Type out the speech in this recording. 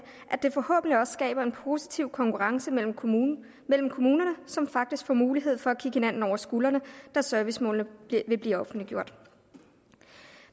at det forhåbentlig også skaber en positiv konkurrence mellem kommunerne mellem kommunerne som faktisk får mulighed for at kigge hinanden over skuldrene da servicemålene vil blive offentliggjort